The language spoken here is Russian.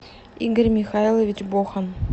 игорь михайлович бохан